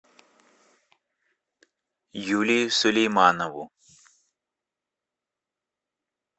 юлию сулейманову